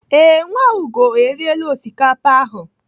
Ee, Nwaugo eriela osikapa ahụ.